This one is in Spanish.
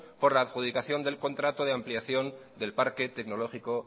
por la adjudicación del contrato de ampliación del parque tecnológico